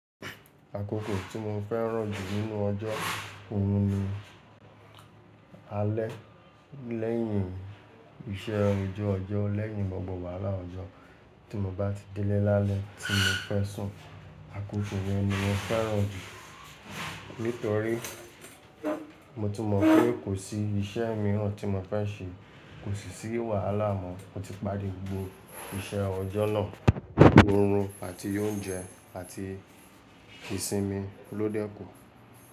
Akókò tí mo fẹ́ràn jù nínú ọjọ́, òhùn ni alẹ́ lẹ́yìn iṣẹ́ ojú ọjọ́, lẹ́yìn gbogbo wàhálà ọjọ́ tí mo bá ti délé lálẹ́ tí mo fẹ́ sùn, akókò yẹn ni mo fẹ́ràn jù. Nítorí mo ti mọ̀ pé kò sí iṣẹ́ míràn tí mo fẹ́ ṣe, kò sì sí wàhálà mọ́, mo ti parí gbogbo iṣẹ́ ọjọ́ náà, òórùn àti oúnjẹ àti ìsinmi ló dẹ́ku.